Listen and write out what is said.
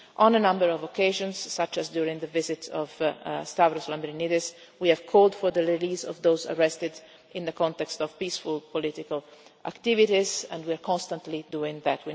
On a number of occasions, such as during the visit of Stavros Lambrinidis, we have called for the release of those arrested in the context of peaceful political activities and we are constantly doing that.